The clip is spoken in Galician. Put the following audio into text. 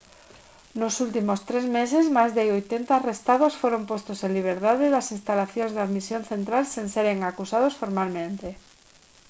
nos últimos tres meses máis de 80 arrestados foron postos en liberdade das instalacións de admisión central sen seren acusados formalmente